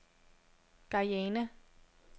Guyana